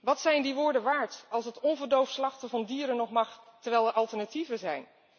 Wat zijn die woorden waard als het onverdoofd slachten van dieren nog mag, terwijl er alternatieven zijn?